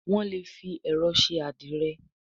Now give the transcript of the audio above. Wón lè fí ẹrọ ṣe adire